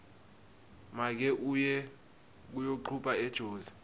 make uye kuyocupha ejozi